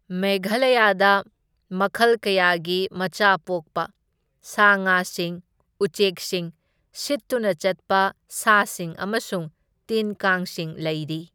ꯃꯦꯘꯥꯂꯌꯥꯗ ꯃꯈꯜ ꯀꯌꯥꯒꯤ ꯃꯆꯥ ꯄꯣꯛꯄ ꯁꯥ ꯉꯥꯁꯤꯡ, ꯎꯆꯦꯛꯁꯤꯡ, ꯁꯤꯠꯇꯨꯅ ꯆꯠꯄ ꯁꯥꯁꯤꯡ ꯑꯃꯁꯨꯡ ꯇꯤꯟ ꯀꯥꯡꯁꯤꯡ ꯂꯩꯔꯤ꯫